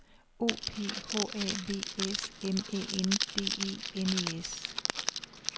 O P H A V S M Æ N D E N E S